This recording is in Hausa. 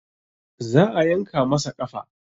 Za a yanka masa ƙafa